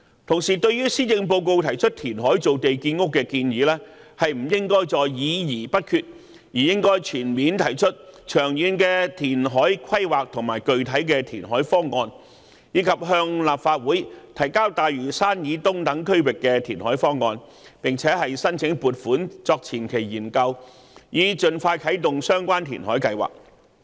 同時，對於施政報告提出填海造地建屋的建議，政府不應再議而不決，而應提出全面和長遠的填海規劃和具體的填海方案，以及向立法會提交大嶼山以東等區域的填海方案，並申請撥款作前期研究，以盡快啟動相關填海計劃。